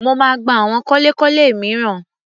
Mo máa gba àwọn kọ́lékọ́lé mìíràn.